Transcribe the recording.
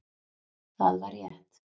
Það var rétt